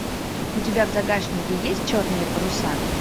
у тебя в загашнике есть черные паруса